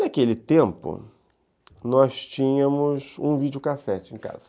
Naquele tempo, nós tínhamos um videocassete em casa.